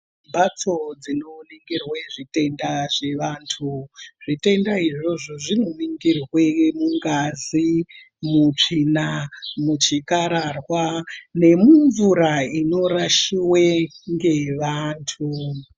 Mbatso dzinowonekerwe zvitenda zvevandu, zvitenda izvozvo zvinovingirwe mungazi, mutsvina, muchikararwa nemumvura inorashiwe ngevandu.